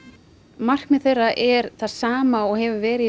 markmið þeirra er í það sama og hefur verið